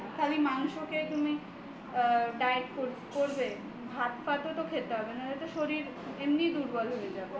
খালি মাংসতে তুমি diet করবে ভাত ফাতও তো খেতে হবেনা হলে তো শরীর এমনিতেই দুর্বল হয়ে যাবে